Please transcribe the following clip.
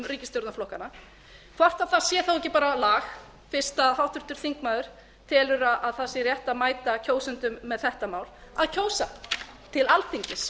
ríkisstjórnarflokkanna hvort þá sé ekki bara lag fyrst að háttvirtur þingmaður telur að það sé rétt að mæta kjósendum með þetta mál að kjósa til alþingis